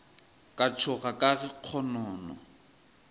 ka tšhoga ka ge kgonono